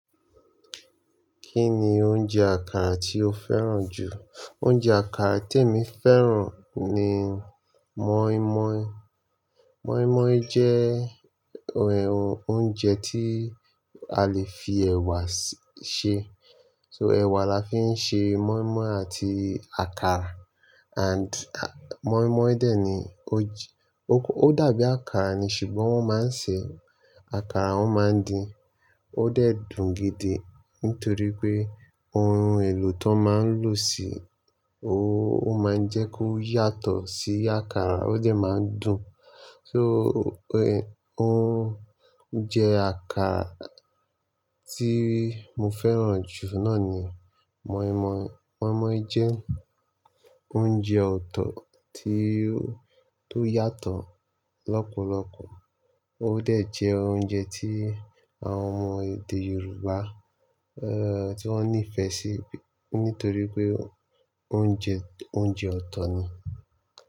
Kí ni oúnjẹ àkàrà tí o fẹ́ràn jù? Oúnjẹ àkàrà, temi fẹ́ràn ni moinmoin. Moinmoin jẹ́ oúnjẹ tí a lè fi ẹ̀wà ṣe. So ẹ̀wà là fí ń ṣe moinmoin àti àkàrà and moinmoin dè ní ó dàbí àkàrà ni ṣùgbọ́n wọ́n máa ń ṣe àkàrà, wọ́n maa n din. Ó dẹ̀ dùn gidi nítorí pé ohun èlò tán máa ń lò sí òun, ó máa ń jẹ́ kó yàtọ̀ sí àkàrà, ó dẹ̀ máa ń dùn. So oúnjẹ àkàrà tí mo fẹ́ràn jù náà ni moinmoin. Moinmoin jẹ́ oúnjẹ ọ̀tọ̀ tí ó yàtọ̀ lọ́pọ̀lọpọ̀. Ó dẹ̀ jẹ́ oúnjẹ tí àwọn ọmọ èdè Yorùbá eh tí wọ́n nífẹ̀ẹ́ sí nítorí pé ó ń jẹ́ oúnjẹ ọ̀tọ̀ ni.